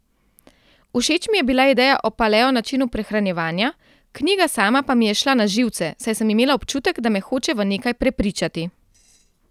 Všeč mi je bila ideja o paleo načinu prehranjevanja, knjiga sama pa mi je šla na živce, saj sem imela občutek, da me hoče v nekaj prepričati.